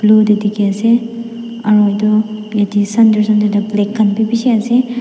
blue tae dekhi asa aru toh ete center centre tae black khan bishi asa.